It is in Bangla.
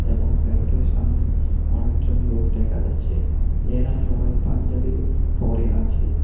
এবং প্যান্ডেল -এর সামনে অনেকজন লোক দেখা যাচ্ছে এরা সবাই পাঞ্জাবি পরে আছে।